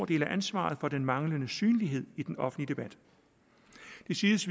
del af ansvaret for den manglende synlighed i den offentlige debat det siges